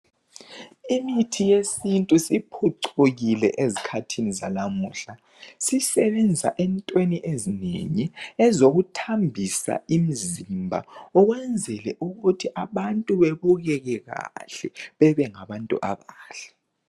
Imithi yesintu isiphucukile ezikhathini zalamuhla sisebenza entweni ezinengi ezokuthambisa imzimba ukwenzele ukuthi abantu bebukeke kahle bebengabantu abahle.